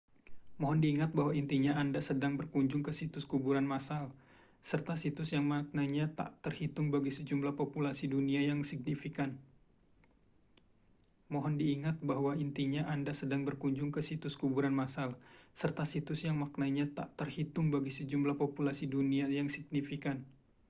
mohon diingat bahwa intinya anda sedang berkunjung ke situs kuburan massal serta situs yang maknanya tak terhitung bagi sejumlah populasi dunia yang signifikan